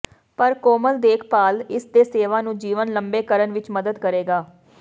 ਪਰ ਕੋਮਲ ਦੇਖਭਾਲ ਇਸ ਦੇ ਸੇਵਾ ਨੂੰ ਜੀਵਨ ਲੰਮੇ ਕਰਨ ਵਿੱਚ ਮਦਦ ਕਰੇਗਾ